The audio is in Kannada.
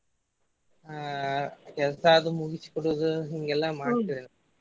ಹಾ ಕೆಲ್ಸಾದು ಮುಗ್ಸಿಕೊಡೋದದು ಹಿಂಗೆಲ್ಲಾ ಮಾಡ್ತೇವ್ರಿ.